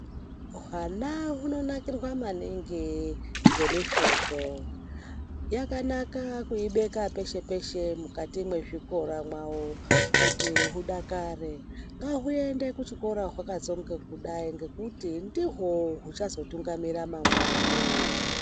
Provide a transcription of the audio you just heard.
Hwana hunanakirwa maningi ngemifodho. Yakanaka kuibeka peshe-peshe mukati mwezvikora mwawo kuti hudakare. Ngahuende kuchikora hwakatsonge kudai ngekuti ndihwo huchazotungamira mangwani.